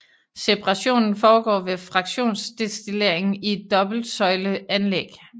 Separationen foregår ved fraktionsdestillering i et dobbelt søjle anlæg